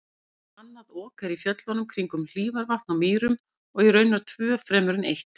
Annað Ok er í fjöllunum kringum Hítarvatn á Mýrum og raunar tvö fremur en eitt.